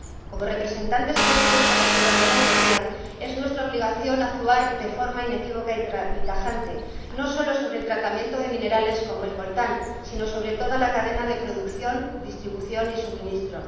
Como representantes elegidos por la ciudadanía europea, es nuestra obligación actuar de forma inequívoca y tajante, no solo sobre el tratamiento de minerales como el coltán, sino sobre toda la cadena de producción, distribución y suministro.